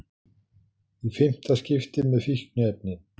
Í fimmta skipti með fíkniefni